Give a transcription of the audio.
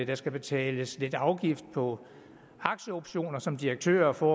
der skal betales lidt afgift på aktieoptioner som direktørerne får